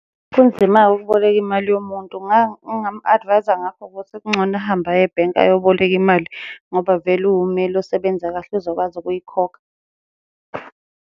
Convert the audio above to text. Kunzima-ke ukuboleka imali yomuntu engingamu-advise-a ngakho ukuthi kungcono ahambe aye ebhenki ayoboleka imali, ngoba vele uwumeli osebenza kahle uzokwazi ukuyikhokha.